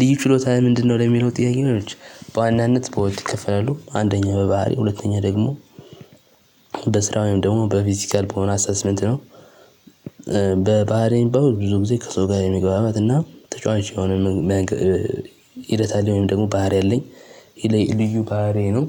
ልዩ ችሎታህ ምንድነው? ለሚለው ጥያቄ ነው አለች በዋናነት በሁለት ይከፈላሉ አንደኛ በባህሪ ሁለተኛ ደግሞ በስራ ወይም ደግሞ በፊዚካል በሆነ አሰስመንት ነው። በባህሪ የሚባለው ብዙ ጊዜ ከሰው ጋር የመግባባት እና ተጫዋች የሆነ ሂደት አለኝ ወይም ደግሞ ባህሪ አለኝ። ይሄ ልዩ ባህሪዬ ነው።